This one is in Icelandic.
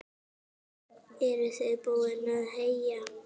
Eruð þið búin að heyja?